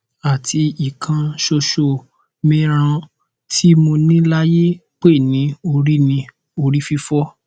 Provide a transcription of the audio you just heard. ati ikan soso mi ran ti mo ni layi pe ni ori ni ori fifo